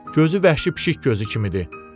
Gözü vəhşi pişik gözü kimidir.